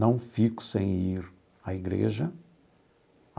Não fico sem ir à igreja.